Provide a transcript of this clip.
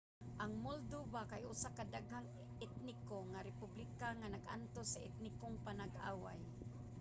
ang moldova kay usa ka daghang-etniko nga republika nga nag-antos sa etnikong panag-away